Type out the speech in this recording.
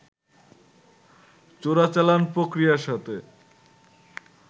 চোরাচালান প্রক্রিয়ার সাথে